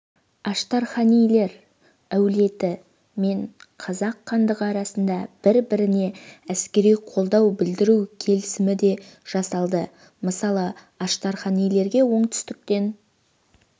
аштарханилер әулеті мен қазақ хандығы арасында бір-біріне әскери қолдау білдіру келісімі де жасалды мысалы аштарханилерге оңтүстіктен